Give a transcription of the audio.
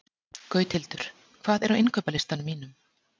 Gauthildur, hvað er á innkaupalistanum mínum?